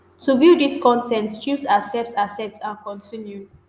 to view dis con ten t choose 'accept 'accept and continue'.